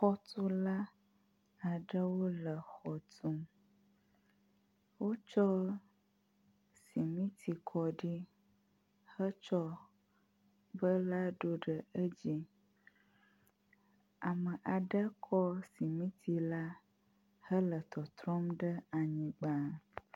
Xɔtula aɖewo le xɔ tum. Wotsɔ simiti kɔ ɖi hetsɔ bela ɖo ɖe edzi. Ame aɖe kɔ simiti la hele tɔtrɔm ɖe anyigba.